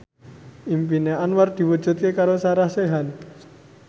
impine Anwar diwujudke karo Sarah Sechan